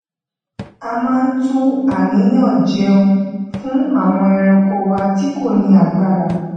ó máa ń tú àníyàn jéun fún àwọn ẹranko wa tí kò ní agbára